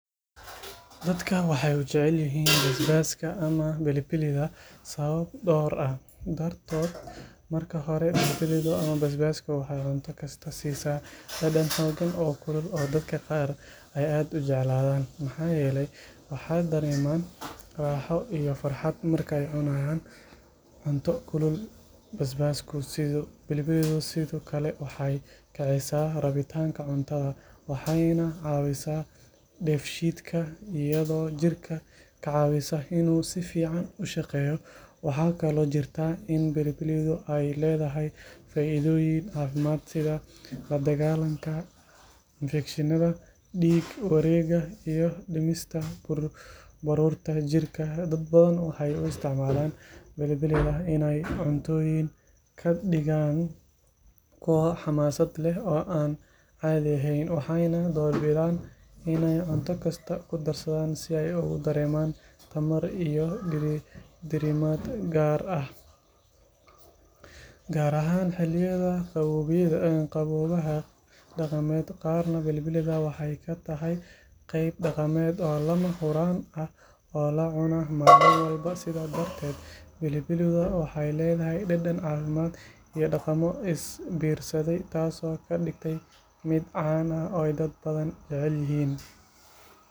Dadka waxay u jecel yihiin basbaaska ama pilipilida sababo dhowr ah dartood marka hore pilipilidu waxay cunto kasta siisaa dhadhan xooggan oo kulul oo dadka qaar ay aad u jeclaadaan maxaa yeelay waxay dareemaan raaxo iyo farxad marka ay cunaan cunto kulul pilipilidu sidoo kale waxay kicisaa rabitaanka cuntada waxayna caawisaa dheefshiidka iyadoo jirka ka caawisa inuu si fiican u shaqeeyo waxaa kaloo jirta in pilipilidu ay leedahay faa’iidooyin caafimaad sida la dagaallanka infekshanka dhiig wareegga iyo dhimista baruurta jirka dad badan waxay u isticmaalaan pilipilida inay cuntooyinka ka dhigaan kuwo xamaasad leh oo aan caadi ahayn waxayna doorbidaan inay cunto kasta ku darsadaan si ay ugu dareemaan tamar iyo diirimaad gaar ahaan xilliyada qaboobaha dhaqamada qaarna pilipilida waxay ka tahay qayb dhaqameed oo lama huraan ah oo la cuno maalin walba sidaa darteed pilipilidu waxay leedahay dhadhan caafimaad iyo dhaqamo is biirsaday taasoo ka dhigta mid caan ah oo ay dad badan jecel yihiin.